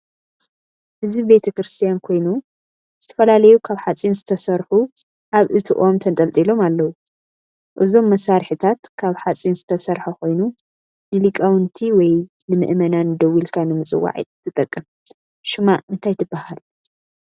እዚ ቤተ-ክርስትያን ኮይኑ ዝተፈላለዩ ካብ ሓፂን ዝተሰርሑ ኣብ እቲ ኦም ተጠልጢሎም ኣለው:: እዞም መሳሪሒታት ካብ ሓፂን ዝተሰርሐ ኮይኑ ንሊቃውቲወይ ንምእመናን ደዊልካ ንምፅዋዕ ትጠቅም:: ሽማ እንታይ ትበሃል ?